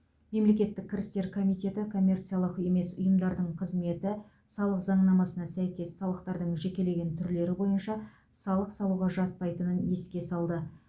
мемлекеттік кірістер комитеті коммерциялық емес ұйымдардың қызметі салық заңнамасына сәйкес салықтардың жекелеген түрлері бойынша салық салуға жатпайтынын еске салды